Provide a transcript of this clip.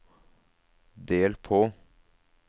del på